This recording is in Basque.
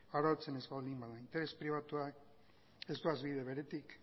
arautzen ez baldin bada interes pribatua ez doa bide beretik